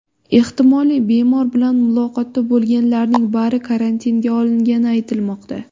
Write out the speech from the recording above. Ehtimoliy bemor bilan muloqotda bo‘lganlarning bari karantinga olingani aytilmoqda.